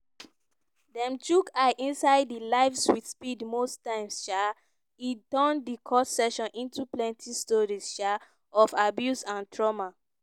dem chook eye inside di lives with speed most times um e turn di court session into plenti stories um of abuse and trauma.